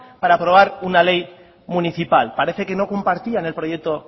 para aprobar una ley municipal parece que no compartían el proyecto